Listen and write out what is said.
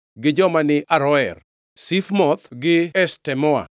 gi joma ni Aroer, Sifmoth gi Eshtemoa,